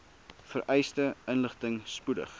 vereiste inligting spoedig